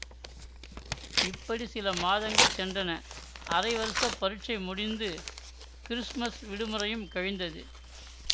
இப்படி சில மாதங்கள் சென்றன அரை வருஷப் பரீட்சை முடிந்து கிறிஸ்மஸ் விடுமுறையும் கழிந்தது